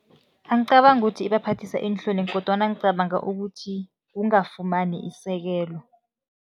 Angicabangi ukuthi ibaphathisa iinhloni kodwana ngicabanga ukuthi kungafumani isekelo.